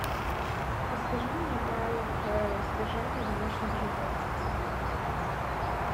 расскажи мне о правилах содержания домашних животных